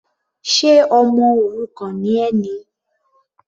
Ṣe ọmọ òrukàn ni ẹ ni?